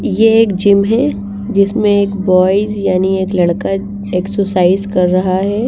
ये एक जिम हैं जिसमें एक बॉयज यानी एक लड़का एक्सरसाइज कर रहा हैं।